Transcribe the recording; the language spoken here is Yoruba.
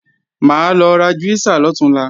Mà á lọ ra júísà lọ̀túnla